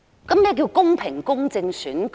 請問何謂公平、公正的選舉？